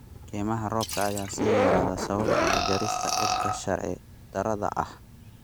Kaymaha roobka ayaa sii yaraaday sababtoo ah jarista dhirta sharci darrada ah.